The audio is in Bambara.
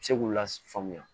Se k'u lafaamuya